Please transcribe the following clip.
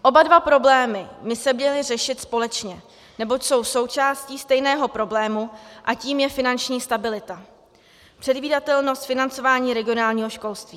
Oba dva problémy by se měly řešit společně, neboť jsou součástí stejného problému, a tím je finanční stabilita, předvídatelnost, financování regionálního školství.